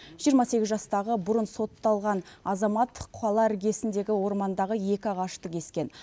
жиырма сегіз жастағы бұрын сотталған азамат қала іргесіндегі ормандағы екі ағашты кескен